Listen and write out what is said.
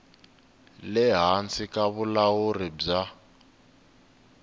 le hansi ka vulawuri bya